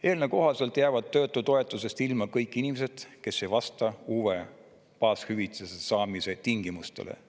Eelnõu kohaselt jäävad töötutoetusest ilma kõik inimesed, kes ei vasta uue baashüvitise saamise tingimustele.